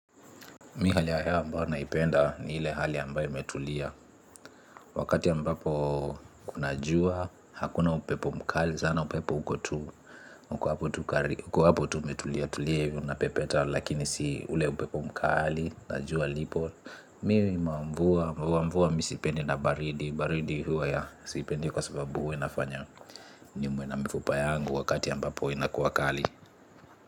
Mi hali ya hewa ambayo naipenda ni ile hali ambayo imetulia. Wakati ambapo kuna jua, hakuna upepo mkali Zana upepo uko tu, uko hapo tu umetulia, tulia ivi unapepeta. Lakini si ule upepo mkali, na jua lipo Mi mamvua, mamvua vua mi sipendi na baridi. Baridi huwa ya sipendi kwa sababu huwa inafanya niumwe na mifupa yangu wakati ambapo inakuwa kali.